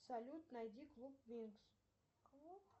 салют найди клуб винкс